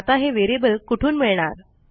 आता हे व्हेरिएबल कोठून मिळणार